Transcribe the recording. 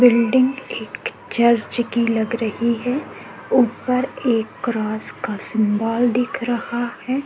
Building एक church की लग रही है ऊपर एक क्रॉस का सिंबॉल दिख रहा है।